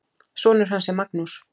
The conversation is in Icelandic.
Sonur hans er Magnús.